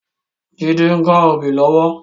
Jide n ká óbì lòwò